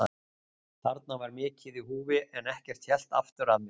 Þarna var mikið í húfi en ekkert hélt aftur af mér.